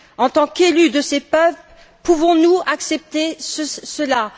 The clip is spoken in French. En tant qu'élus de ces peuples, pouvons nous accepter cela?